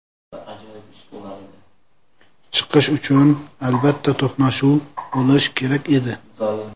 Chiqish uchun, albatta, to‘qnashuv bo‘lishi kerak edi.